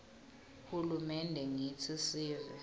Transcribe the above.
hulumende ngitsi sive